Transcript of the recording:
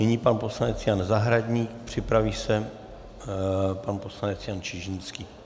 Nyní pan poslanec Jan Zahradník, připraví se pan poslanec Jan Čižinský.